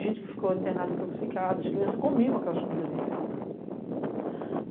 gente que ficou internada intoxicada, as crianças comiam aquelas comidas vencidas.